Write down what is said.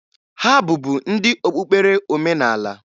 Ha bụbu ndị okpukpere omenaala.